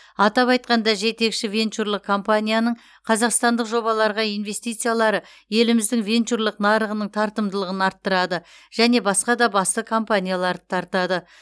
атап айтқанда жетекші венчурлық компанияның қазақстандық жобаларға инвестициялары еліміздің венчурлық нарығының тартымдылығын арттырады және басқа да басты компанияларды тартады